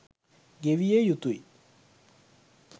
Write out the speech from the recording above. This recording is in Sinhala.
ගෙවිය යුතුයි.